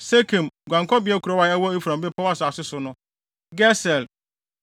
Sekem (guankɔbea kurow) a ɛwɔ Efraim bepɔw asase no so, Geser,